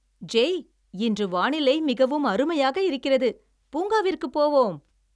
“ஜெய், இன்று வானிலை மிகவும் அருமையாக இருக்கிறது. பூங்காவிற்குப் போவோம்."